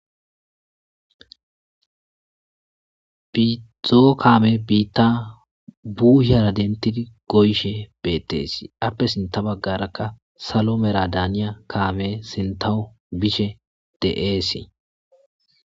Biizoo kaame biitta buuhyara dentidi goyshe beetteesi appe sinta baggarakka salo mera daaniya kaame sintawo bishe de7eesii.